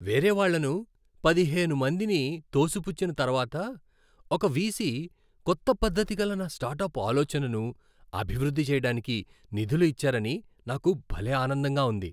వేరేవాళ్ళను పదిహేను మందిని తోసిపుచ్చిన తర్వాత ఒక వీసీ కొత్త పద్ధతిగల నా స్టార్టప్ ఆలోచనను అభివృద్ధి చేయడానికి నిధులు ఇచ్చారని నాకు భలే ఆనందంగా ఉంది.